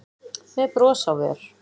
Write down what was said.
með bros á vör.